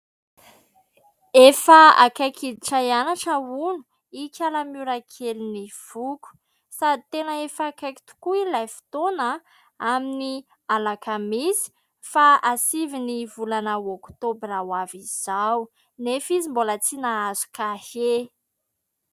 Efa akaiky hiditra hianatra hono ikala Miora kelin'ny foko. Sady tena efa akaiky tokoa ilay fotoana a ! Amin'ny alakamisy faha sivy ny volana oktobra ho avy izao, nefa izy mbola tsy nahazo kahie.